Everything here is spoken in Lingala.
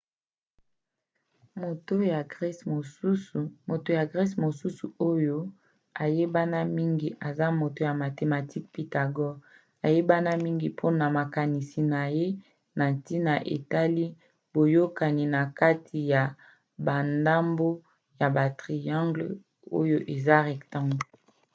moto ya grece mosusu oyo ayebana mingi eza moto ya mathematique pythagore ayebana mingi mpona makanisi na ye na ntina etali boyokani na kati ya bandambo ya batriangles oyo eza rectangle